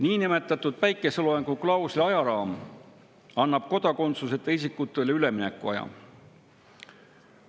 Niinimetatud päikeseloojanguklausli ajaraam annab kodakondsuseta isikutele üleminekuaja.